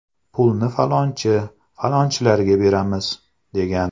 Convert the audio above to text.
Pulni falonchi, falonchilarga beramiz”, degan.